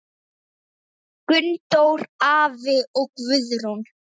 Gunndór afi og Guðrún.